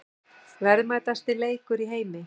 Verðmætasti leikur í heimi